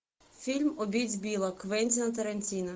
фильм убить билла квентина тарантино